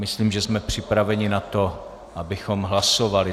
Myslím, že jsme připraveni na to, abychom hlasovali.